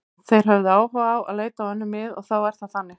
Þeir höfðu áhuga á að leita á önnur mið og þá er það þannig.